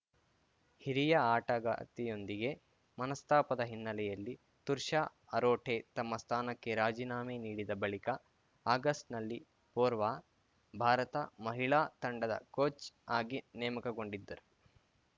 ಹಿರಿಯ ಆಟಗಾರ್ತಿಯೊಂದಿಗೆ ಮನಸ್ತಾಪದ ಹಿನ್ನೆಲೆಯಲ್ಲಿ ತುರ್ಷಾ ಅರೋಠೆ ತಮ್ಮ ಸ್ಥಾನಕ್ಕೆ ರಾಜೀನಾಮೆ ನೀಡಿದ ಬಳಿಕ ಆಗಸ್ಟ್‌ನಲ್ಲಿ ಪೊವಾರ್‌ ಭಾರತ ಮಹಿಳಾ ತಂಡದ ಕೋಚ್‌ ಆಗಿ ನೇಮಕಗೊಂಡಿದ್ದರು